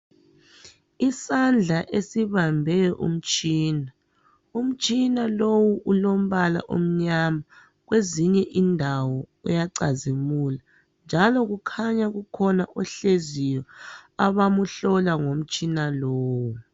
Isandla esibambe umtshina. Umtshina lowu ulombala omnyama kwezinye indawo uyacazimula njalo kukhanya kukhona ohleziyo abamhlola ngomtshina lowu